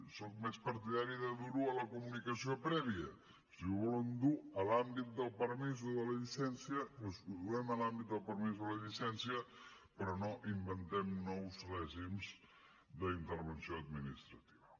sóc més partidari de durho a la comunicació prèvia si ho volen dur a l’àmbit del permís o de la llicència doncs ho duem a l’àmbit del permís o la llicència però no inventem nous règims d’intervenció administrativa